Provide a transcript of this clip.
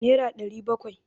naira ɗari bakwai?